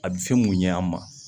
A bɛ fɛn mun ɲɛ an ma